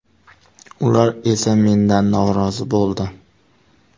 Ular esa mendan norozi bo‘ldi.